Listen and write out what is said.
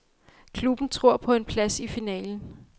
Klubben tror på en plads i finalen.